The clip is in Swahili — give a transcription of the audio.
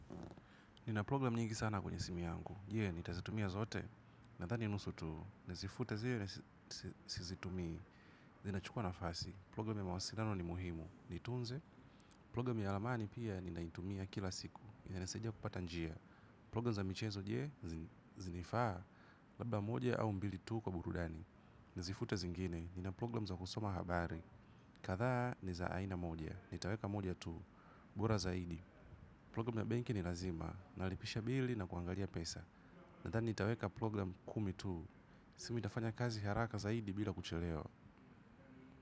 Nina program nyingi sana kwenye simu yangu. Je, nitazitumia zote. Nathani nusu tu. Nazifuta zile sizitumii. Inachukua nafasi program ya mawasiliano ni muhimu nitunze. Program ya ramani pia, ninaitumia kila siku. Inasaidia kupata njia. Program za michezo je, zinifaa. Labda moja au mbili tu kwa burudani. Nazifuta zingine. Nina program za kusoma habari. Kadhaa, ni za aina moja. Nitaweka moja tu. Bora zaidi. Program ya benki ni lazima. Inalipisha bili na kuangalia pesa. Nadhani nitaweka program kumi tu. Simu itafanya kazi haraka zaidi bila kuchelewa.